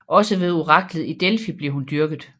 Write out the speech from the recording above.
Også ved oraklet i Delfi blev hun dyrket